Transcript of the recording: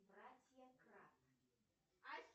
братья крат